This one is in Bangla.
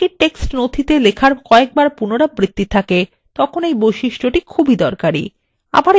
যখন একই text নথিতে লেখার কয়েকবার পুনরাবৃত্তি থাকে তখন এই বৈশিষ্ট্যটি খুবই দরকারী